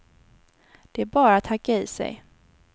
Det är bara att hacka i sig.